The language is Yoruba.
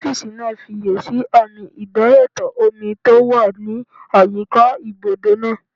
Ọ́físà náà fiyèsí àmì idayàtọ̀ omi tó wà ní àyíká ibùdó náà